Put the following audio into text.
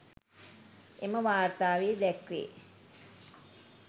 එම වාර්තාවේ දැක්වේ